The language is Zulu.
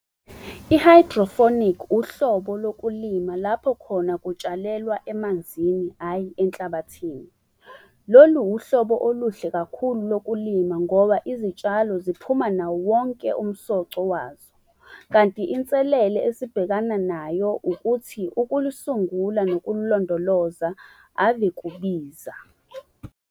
uhlobo lokulima lapho khona kutshalelwa emanzini, hhayi enhlabathini. Lolu uhlobo oluhle kakhulu lokulima, ngoba izitshalo ziphuma nawowonke umsoco wazo. Kanti inselele esibhekana nayo ukuthi ukulusungula nokululondoloza ave kubiza.